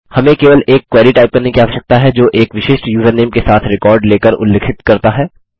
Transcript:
हमें केवल एक क्वेरी टाइप करने की आवश्यकता है जो एक विशिष्ट यूज़रनेम के साथ रिकॉर्ड लेकर उल्लिखित करता है